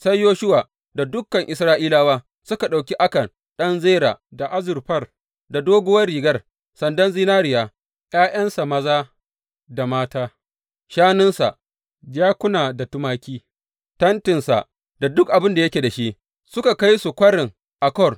Sai Yoshuwa da dukan Isra’ilawa suka ɗauki Akan ɗan Zera, da azurfar, doguwar rigar, sandan zinariya, ’ya’yansa maza da mata, shanunsa, jakuna da tumaki, tentinsa da duk abin da yake da shi, suka kai su Kwarin Akor.